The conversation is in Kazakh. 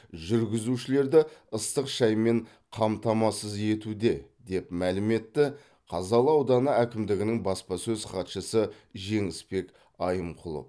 жүргізушілерді ыстық шаймен қамтамасыз етуде деп мәлім етті қазалы ауданы әкімдігінің баспасөз хатшысы жеңісбек айымқұлов